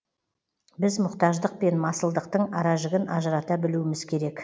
біз мұқтаждық пен масылдықтың аражігін ажырата білуіміз керек